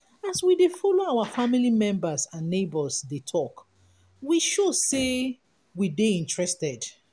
as we de follow our family members and neigbours de talk we show say we de interested